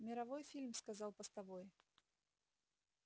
мировой фильм сказал постовой